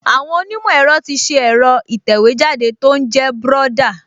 Àwọn onímọ̀ ẹ̀rọ ti ṣe ẹ̀rọ ìtẹ̀wéjáde tó ń jẹ́ Brother